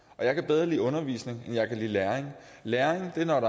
og jeg kan bedre lide undervisning end jeg kan lide læring læring er når